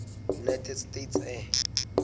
united states air